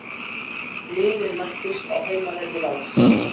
Liðin mættust á heimavelli Vals